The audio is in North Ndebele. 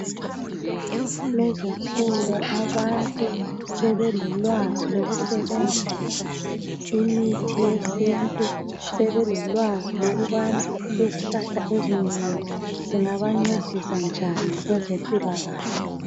Lezinsuku abantu sebelolwazi lokusebenzisa imithi yesintu sebelolwazi lokubana izihlahla ezinengi zingabancedisa njani kwezempilakahle